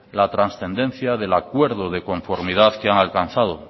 la trascendencia del acuerdo de conformidad que han alcanzado